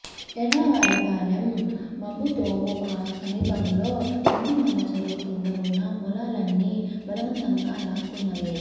ఎర్రావారిపాళెం మబ్బుతోపు సమీపంలో పందిమల్లచెరువు కింద ఉన్న పొలాలన్నీ బలవంతంగా లాక్కున్నవే